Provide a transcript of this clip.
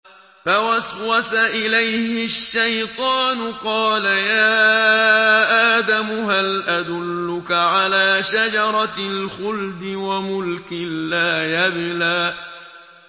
فَوَسْوَسَ إِلَيْهِ الشَّيْطَانُ قَالَ يَا آدَمُ هَلْ أَدُلُّكَ عَلَىٰ شَجَرَةِ الْخُلْدِ وَمُلْكٍ لَّا يَبْلَىٰ